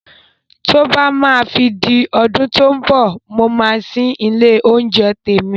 Tí ó bá máa fi di ọdún tó mbọ̀, mo máa ṣí ilé oúnjẹ tèmi